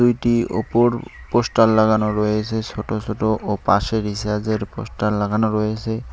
ছবিটি ওপর পোস্টার লাগানো রয়েসে ছোটো ছোটো ও পাশে রিসার্যের এর পোস্টার লাগানো রয়েসে।